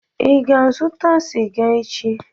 Ị ga-azụta sịga echi?